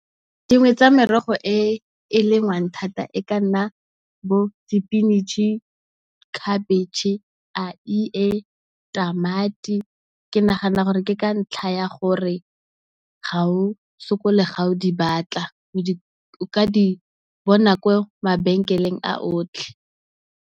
Dingwe tsa merogo e e lengwang thata e ka nna bo di pinatšhe, khabetšhe, eie, tamati. Ke nagana gore ke ka ntlha ya gore ga o sokole ga o di batla, o ka di bona ko mabenkeleng a otlhe.